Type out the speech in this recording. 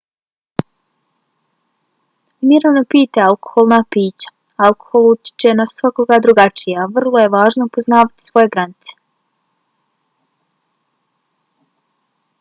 umjereno pijte alkoholna pića. alkohol utječe na svakoga drugačije a vrlo je važno poznavati svoje granice